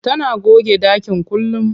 Tana goge ɗakin kullum.